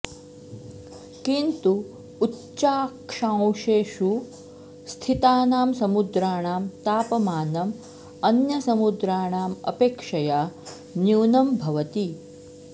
किन्तु उच्चाक्षांशेषु स्थितानां समुद्राणां तापमानम् अन्यसमुद्राणाम् अपेक्षया न्यूनं भवति